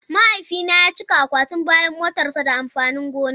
Mahaifina ya cika akwatin bayan motarsa da amfanin gona.